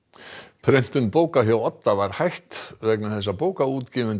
prentun bóka hjá Odda var hætt vegna þess að bókaútgefendur